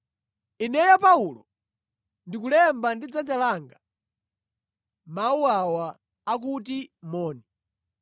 Ineyo Paulo, ndikulemba ndi dzanja langa mawu awa akuti moni.